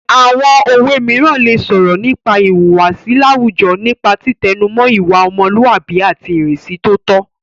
Àwọn òwe mìíràn lè sọ̀rọ̀ nípa ìhùwàsí láwùjọ nípa títẹnumọ́ ìwà ọmọlúàbí àti ìrínisí tó tọ́